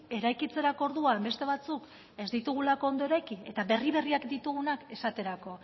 eraikitzerako orduan beste batzuk ez ditugulako ondo eraiki eta berri berriak ditugunak esaterako